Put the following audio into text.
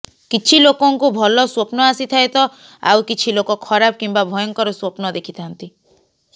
କିଛି ଲୋକଙ୍କୁ ଭଲ ସ୍ବପ୍ନ ଆସିଥାଏ ତ ଆଉ କିଛି ଲୋକ ଖରାପ କିମ୍ବା ଭୟଙ୍କର ସ୍ବପ୍ନ ଦେଖିଥାଆନ୍ତି